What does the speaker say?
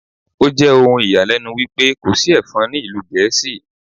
Ó jẹ́ ohun ìyàlẹ́nu wípé kò sí Ẹ̀fọn ní ìlú Gẹ̀ẹ́sì.